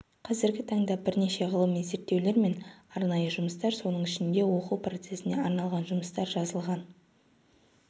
қазіргі таңда бірнеше ғылыми зерттеулер мен арнайы жұмыстар соның ішінде оқу процесіне арналған жұмыстар жазылған